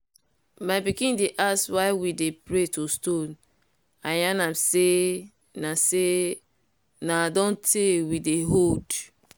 my pikin dey ask why we dey pray to stone. i yan am say na say na don tey we dey hold.